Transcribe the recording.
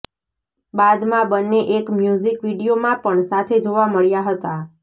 બાદમાં બંને એક મ્યૂઝિક વીડિયોમાં પણ સાથે જોવા મળ્યા હતા